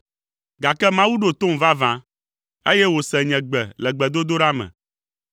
gake Mawu ɖo tom vavã, eye wòse nye gbe le gbedodoɖa me.